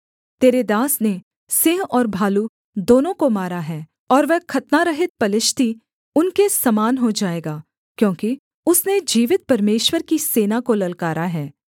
तेरे दास ने सिंह और भालू दोनों को मारा है और वह खतनारहित पलिश्ती उनके समान हो जाएगा क्योंकि उसने जीवित परमेश्वर की सेना को ललकारा है